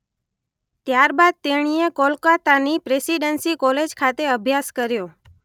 ત્યારબાદ તેણીએ કોલકાતાની પ્રેસિડન્સી કોલેજ ખાતે અભ્યાસ કર્યો.